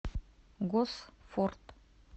госфорд